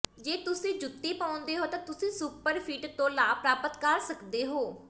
ਜੇ ਤੁਸੀਂ ਜੁੱਤੀ ਪਾਉਂਦੇ ਹੋ ਤਾਂ ਤੁਸੀਂ ਸੁਪਰਫੀਟ ਤੋਂ ਲਾਭ ਪ੍ਰਾਪਤ ਕਰ ਸਕਦੇ ਹੋ